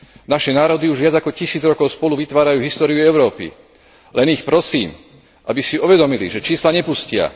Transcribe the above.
Naše národy už viac ako tisíc rokov spolu vytvárajú históriu Európy, len ich prosím, aby si uvedomili, že čísla nepustia.